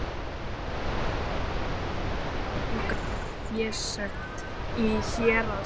Voru þeir dæmdir í þunga fésekt í héraðsdómi.